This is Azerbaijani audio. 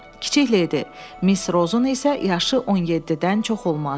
Kiçik ledi, Miss Rozun isə yaşı 17-dən çox olmazdı.